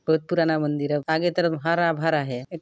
बहुत पुराना मंदिर है आगे तरफ हरा- भरा हैं।